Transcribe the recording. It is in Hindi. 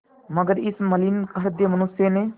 मगर इस मलिन हृदय मनुष्य ने